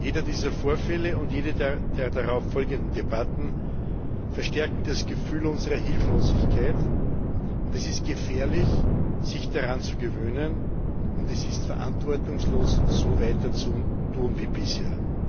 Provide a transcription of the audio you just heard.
Jeder dieser Vorfälle und jede der darauf folgenden Debatten verstärkten das Gefühl unserer Hilflosigkeit. Es ist gefährlich, sich daran zu gewöhnen, und es ist verantwortungslos, so weiter zu tun wie bisher.